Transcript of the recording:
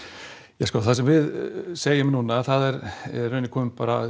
ja sko það sem við segjum núna það er í rauninni kominn